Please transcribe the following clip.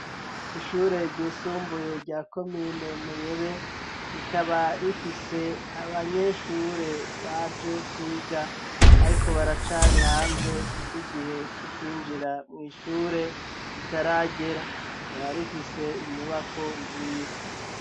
Ishure ryisumbuye rya komine Muyebe, rikaba rifise abanyeshure baje kwiga, ariko baracari hanze kuko igihe co kwinjira mw'ishure kitaragera ,rikaba rifise inyubako nziza.